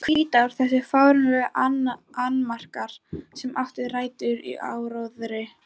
Hvítár Þessir fáránlegu annmarkar, sem áttu rætur í áróðri